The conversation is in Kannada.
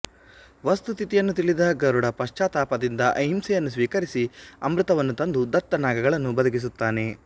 ವಸ್ತುಸ್ಥಿತಿಯನ್ನು ತಿಳಿದ ಗರುಡ ಪಶ್ಚಾತ್ತಾಪದಿಂದ ಅಹಿಂಸೆಯನ್ನು ಸ್ವೀಕರಿಸಿ ಅಮೃತವನ್ನು ತಂದು ದತ್ತ ನಾಗಗಳನ್ನು ಬದುಕಿಸುತ್ತಾನೆ